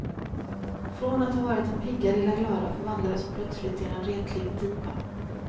Från att ha varit den pigga lilla glada förvandlades hon plötsligt till en retlig diva.